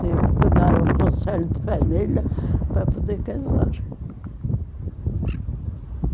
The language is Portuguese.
Tive que dar um conselho de família para poder casar.